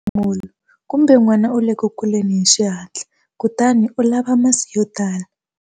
Nhlamulo- Kumbe n'wana u le ku kuleni hi xihatla, kutani u lava masi yo tala.